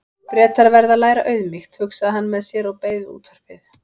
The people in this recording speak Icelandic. Bretar verða að læra auðmýkt, hugsaði hann með sér og beið við útvarpið.